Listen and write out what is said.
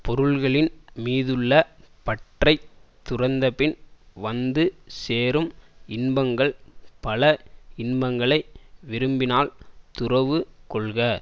பொருள்களின் மீதுள்ள பற்றைத் துறந்தபின் வந்து சேரும் இன்பங்கள் பல இன்பங்களை விரும்பினால் துறவு கொள்க